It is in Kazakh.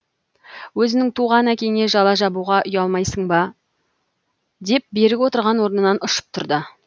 өзіңнің туған әкеңе жала жабуға уялмайсың ба деп берік отырған орнынан ұшып тұрды